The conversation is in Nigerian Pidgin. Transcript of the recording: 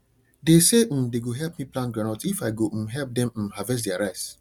they say um they go help me plant groundnut if i go um help them um harvest their rice